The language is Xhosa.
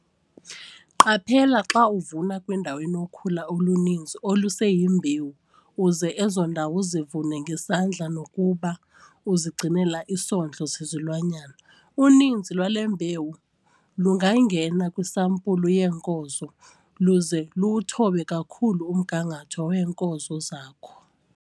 Qaphela xa uvuna kwindawo enokhula oluninzi oluseyimbewu uze ezo ndawo uzivune ngesandla nokuba uzigcinela isondlo sezilwanyana. Uninzi lwale mbewu lungangena kwisampulu yeenkozo luze luwuthobe kakhulu umgangatho weenkozo zakho.